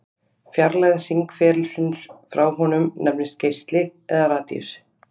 Fjarlægð hringferilsins frá honum nefnist geisli eða radíus.